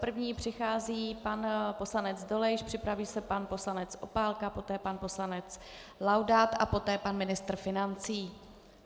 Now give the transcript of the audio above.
První přichází pan poslanec Dolejš, připraví se pan poslanec Opálka, poté pan poslanec Laudát a poté pan ministr financí.